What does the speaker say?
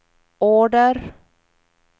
order